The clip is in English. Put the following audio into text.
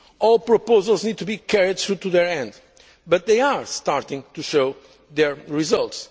complete. All proposals need to be carried through to their end, but they are starting to show their